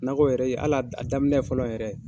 Nakɔ yɛrɛ, hali a a daminɛ fɔlɔ yɛrɛ